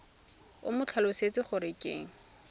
o mo tlhalosetse gore ke